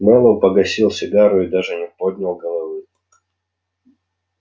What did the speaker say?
мэллоу погасил сигару и даже не поднял головы